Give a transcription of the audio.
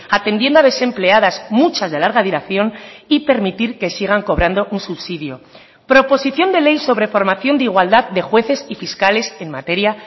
atendiendo a desempleadas muchas de larga duración y permitir que sigan cobrando un subsidio proposición de ley sobre formación de igualdad de jueces y fiscales en materia